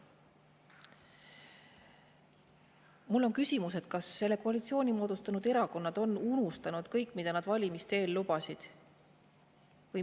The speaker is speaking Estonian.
Mul on küsimus: kas koalitsiooni moodustanud erakonnad on unustanud kõik, mida nad valimiste eel lubasid?